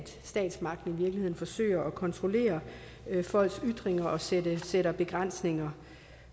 statsmagten i virkeligheden forsøger at kontrollere folks ytringer og sætter sætter begrænsninger